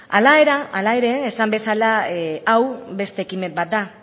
hala ere esan bezala hau beste ekimen bat da